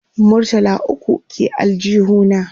murtala ukwu ke aljihu na